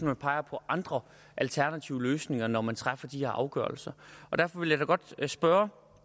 man peger på andre alternative løsninger når man træffer de her afgørelser derfor vil jeg da godt spørge